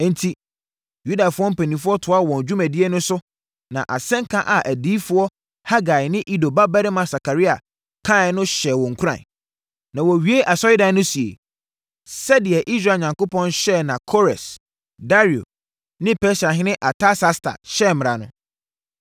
Enti, Yudafoɔ mpanimfoɔ toaa wɔn dwumadie no so na asɛnka a adiyifoɔ Hagai ne Ido babarima Sakaria kaeɛ no hyɛɛ wɔn nkuran. Na, wɔwiee asɔredan no sie, sɛdeɛ, Israel Onyankopɔn hyɛeɛ na Kores, Dario ne Persiahene Artasasta hyɛɛ mmara no.